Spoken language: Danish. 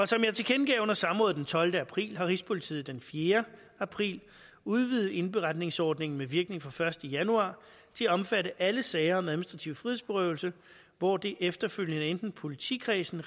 som jeg tilkendegav under samrådet den tolvte april har rigspolitiet den fjerde april udvidet indberetningsordningen med virkning fra den første januar til at omfatte alle sager om administrativ frihedsberøvelse hvor det efterfølgende i enten politikredsene